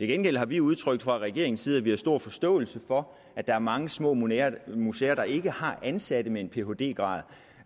gengæld har vi udtrykt fra regeringens side at vi har stor forståelse for at der er mange små museer museer der ikke har ansatte med en phd grad